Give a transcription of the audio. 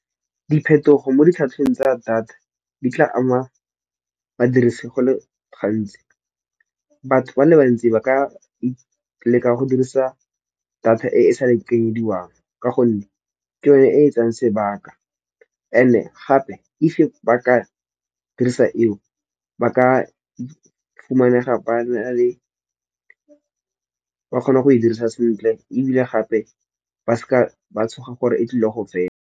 Diphetogo mo ditlhatlhobong tsa data di tla ama badirisi go le gantsi. Batho ba le bantsi ba ka leka go dirisa data e e sa lekanyediwang. Ka gonne ke yone e e tsayang sebaka and-e gape if ba ka dirisa eo ba ka ifumanega ba kgona go e dirisa sentle ebile gape ba seka ba tshoga gore e tlile go fela.